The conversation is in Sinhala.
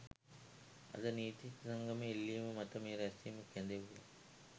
අද නීතිඥ සංගමයේ ඉල්ලීම මත මේ රැස්වීම කැඳෙව්වා